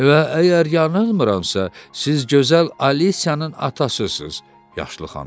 Və əgər yanılmıramsa, siz gözəl Alisiyanın atasısınız?